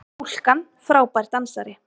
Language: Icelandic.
Stúlkan frábær dansari!